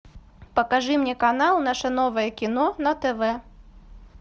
покажи мне канал наше новое кино на тв